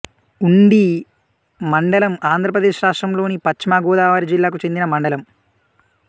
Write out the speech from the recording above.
ఉండి మండలం ఆంధ్రప్రదేశ్ రాష్ట్రం లోని పశ్చిమ గోదావరి జిల్లాకు చెందిన మండలం